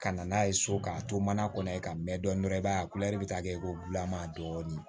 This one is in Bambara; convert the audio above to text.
Ka na n'a ye so k'a to mana kɔnɔ yen ka mɛn dɔɔnin dɔrɔn i b'a ye a bɛ taa kɛ ko bulama dɔɔnin